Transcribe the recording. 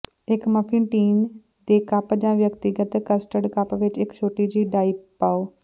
ਇੱਕ muffin tin ਦੇ cup ਜਾਂ ਵਿਅਕਤੀਗਤ ਕਸਟਾਰਡ ਕੱਪ ਵਿੱਚ ਇੱਕ ਛੋਟੀ ਜਿਹੀ ਡਾਈ ਪਾਓ